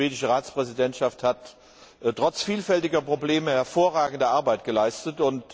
Die schwedische Ratspräsidentschaft hat trotz vielfältiger Probleme hervorragende Arbeit geleistet.